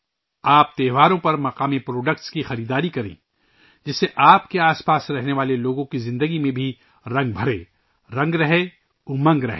آپ تہواروں پر مقامی مصنوعات کی خریداری کریں ، جس سے آپ کے آس پاس رہنے والے لوگوں کی زندگی میں بھی رنگ بھرے ، رنگ رہے ، امنگ رہے